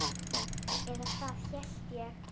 Eða það hélt ég!